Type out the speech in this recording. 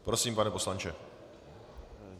Prosím, pane poslanče.